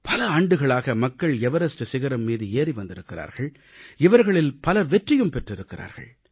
பல ஆண்டுகளாக மக்கள் எவரஸ்ட் சிகரம் மீது ஏறி வந்திருக்கிறார்கள் இவர்களில் பலர் வெற்றியும் பெற்றிருக்கிறார்கள்